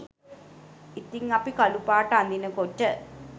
ඉතිං අපි කළු පාට අඳිනකොට